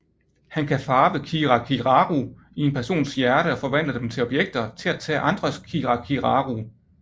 Han kan farve kirakiraru i en persons hjerte og forvandle dem til objekter til at tage andres kirakiraru